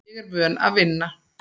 Ég er vön að vinna.